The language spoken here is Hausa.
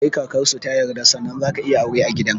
Sai kakarsu ta yarda sannan zaka iya aure a gidan